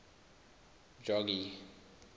jogee